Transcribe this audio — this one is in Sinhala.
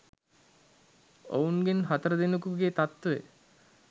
ඔවුන්ගෙන් හතර දෙනකුගේ තත්වය